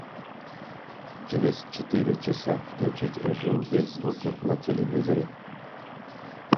через четыре часа включить режим без звука на телевизоре